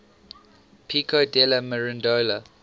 pico della mirandola